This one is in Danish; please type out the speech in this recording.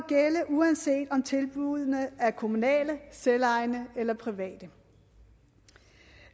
uanset om tilbuddene er kommunale selvejende eller private